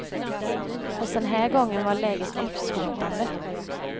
Fast den här gången var läget livshotande.